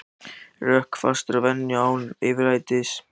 Rökfastur að venju en án yfirlætis.